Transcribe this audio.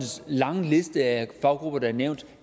lange liste af faggrupper der er nævnt